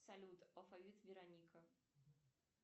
салют алфавит вероника